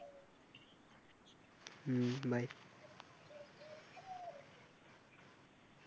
হম bye